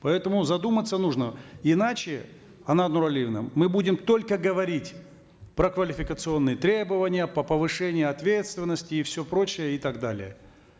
поэтому задуматься нужно иначе анар нуралиевна мы будем только говорить про квалификационные требования по повышению ответственности и все прочее и так далее